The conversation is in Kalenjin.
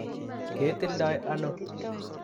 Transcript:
Ketildoi ano?